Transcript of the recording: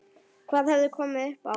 Hvað hafði komið upp á?